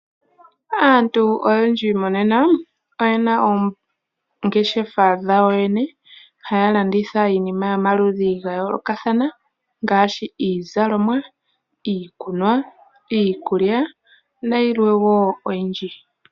Aantu oyendji monena oyena oongeshefa dhawo yene haya landitha iinima yomaludhi gayoolokathana ngaashi iizalomwa, iikunwa, iikulya nayilwe wo oyindji.